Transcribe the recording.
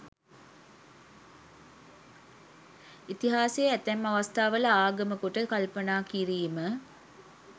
ඉතිහාසය ඇතැම් අවස්ථාවල ආගම කොට කල්පනා කිරීම